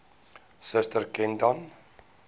suster ken dan